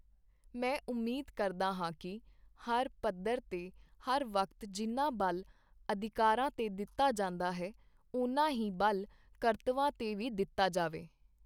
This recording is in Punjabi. ਮੈਂ ਉਮੀਦ ਕਰਦਾ ਹਾਂ ਕਿ ਹਰ ਪੱਧਰ ਤੇ ਹਰ ਵਕਤ ਜਿੰਨਾ ਬਲ ਅਧਿਕਾਰਾਂ ਤੇ ਦਿੱਤਾ ਜਾਂਦਾ ਹੈ, ਉਨਾ ਹੀ ਬਲ ਕਰਤੱਵਾਂ ਤੇ ਵੀ ਦਿੱਤਾ ਜਾਵੇ।